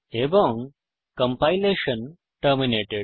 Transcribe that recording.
এবং compilation terminated